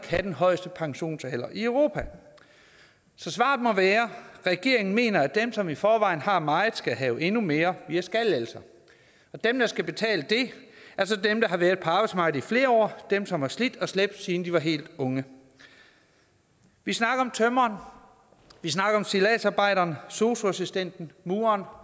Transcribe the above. have den højeste pensionsalder i europa så svaret må være regeringen mener at dem som i forvejen har meget skal have endnu mere via skattelettelser og dem der skal betale det er så dem der har været på arbejdsmarkedet i flere år dem som har slidt og slæbt siden de var helt unge vi snakker om tømreren vi snakker om stilladsarbejderen sosu assistenten mureren